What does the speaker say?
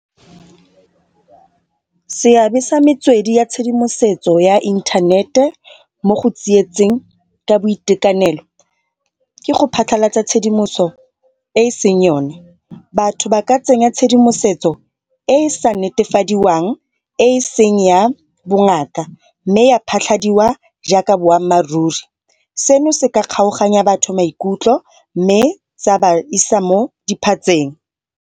Seabe sa metswedi ya tshedimosetso ya inthanete mo go tsietseng ka boitekanelo ke go phatlhalatsa tshedimoso e e seng yone. Batho ba ka tsenya tshedimosetso e e sa netefadiwang e e seng ya bongaka mme ya phatlhadiwa jaaka boammaaruri seno se ka kgaoganya batho maikutlo mme sa ba isa mo diphatseng.